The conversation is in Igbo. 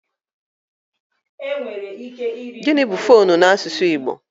Gịnị bụ foonu n'asụsụ bekee?